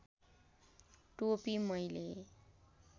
टोपी मैले